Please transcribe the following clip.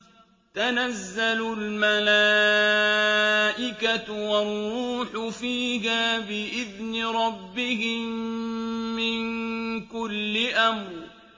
تَنَزَّلُ الْمَلَائِكَةُ وَالرُّوحُ فِيهَا بِإِذْنِ رَبِّهِم مِّن كُلِّ أَمْرٍ